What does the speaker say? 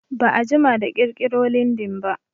Ba'a jima da ƙirƙiro lindin ba